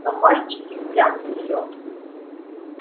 но мальчик и впрямь силён